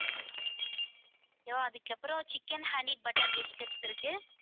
okay வா? அதுக்கப்புறம் chicken honey butter biscuits இருக்கு